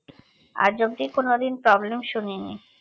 আজ অব্দি কোন দিন problem শুনিনি